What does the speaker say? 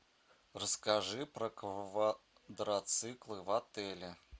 расскажи про квадроциклы в отеле